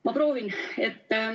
Ma proovin.